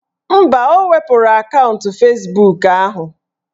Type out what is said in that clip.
Mba, o wepuru akaụntụ Fezbuk ahụ